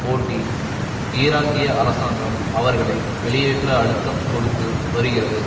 ஓட்டி ஈராக்கிய அரசாங்கம் அவர்களை வெளியேற்ற அழுத்தம் கொடுத்து வருகிறது